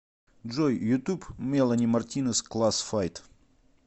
джой ютуб мелани мартинез класс файт